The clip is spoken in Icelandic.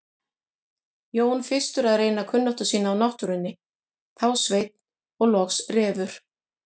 Jón fyrstur að reyna kunnáttu sína á náttúrunni, þá Sveinn og loks Refur.